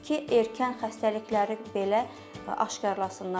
Ki, erkən xəstəlikləri belə aşkarlasınlar.